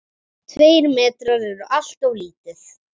Tveir metrar eru alltof lítið.